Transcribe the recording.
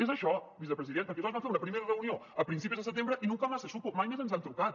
és això vicepresident perquè nosaltres vam fer una primera reunió a principis de setembre y nunca más se supo mai més ens han trucat